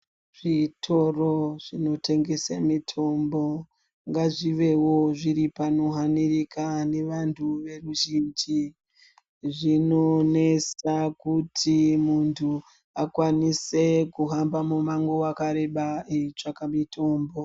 Zvitoro zvinotengese mitombo ngazvivewo panohanirika nevanhu veruzhinji, zvinonesa kuti muntu akwanise kuhamba mumango wakareba eitsvaka mitombo.